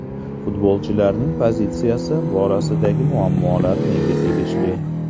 Futbolchilarning pozitsiyasi borasidagi muammolar menga tegishli.